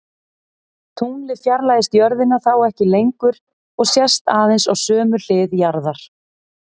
Tunglið fjarlægist jörðina þá ekki lengur og sést aðeins á sömu hlið jarðar.